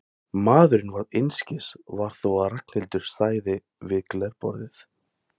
Maðurinn varð einskis var þó að Ragnhildur stæði við glerborðið.